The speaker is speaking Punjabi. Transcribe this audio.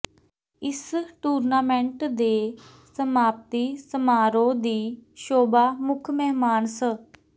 ਇਸ ਟੂਰਨਾਮੈਂਟ ਦੇ ਸਮਾਪਤੀ ਸਮਾਰੋਹ ਦੀ ਸ਼ੋਭਾ ਮੁੱਖ ਮਹਿਮਾਨ ਸ